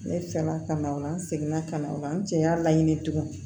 Ne fɛ la ka na o la n seginna ka na o la n cɛ y'a laɲini tugun